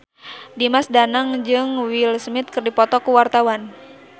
Dimas Danang jeung Will Smith keur dipoto ku wartawan